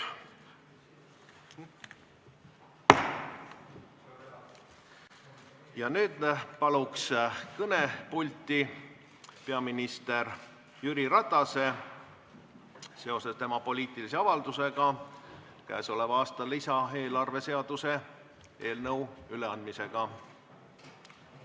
Nüüd ma palun kõnepulti peaminister Jüri Ratase seoses tema poliitilise avaldusega käesoleva aasta lisaeelarve seaduse eelnõu üleandmisega Riigikogule.